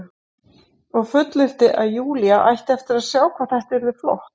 Og fullyrti að Júlía ætti eftir að sjá hvað þetta yrði flott.